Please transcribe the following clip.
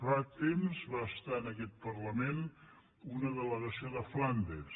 fa temps va estar en aquest parlament una delegació de flandes